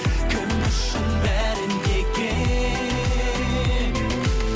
кім үшін бәрі неге